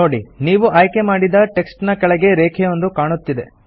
ನೋಡಿ ನೀವು ಆಯ್ಕೆ ಮಾಡಿದ ಟೆಕ್ಸ್ಟ್ ನ ಕೆಳಗೆ ರೇಖೆಯೊಂದು ಕಾಣುತ್ತಿದೆ